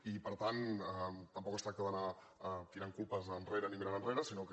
i per tant tampoc es tracta d’anar tirant culpes enrere ni mirant enrere sinó que